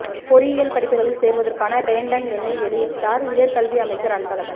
பொறியியல் படிப்புகளில் சேருவதற்கான ரேண்டம் எண்ணை வெளியிட்டார் உயர் கல்வி அமைச்சர் அன்பழகன்